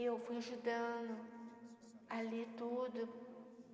Eu fui ajudando ali tudo.